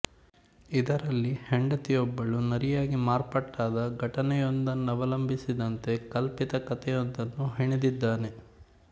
ಇದರಲ್ಲಿ ಹೆಂಡತಿಯೊಬ್ಬಳು ನರಿಯಾಗಿ ಮಾರ್ಪಾಟಾದ ಘಟನೆಯೊಂದನ್ನವಲಂಬಿಸಿದಂತೆ ಕಲ್ಪಿತ ಕಥೆಯೊಂದನ್ನು ಹೆಣೆದಿದ್ದಾನೆ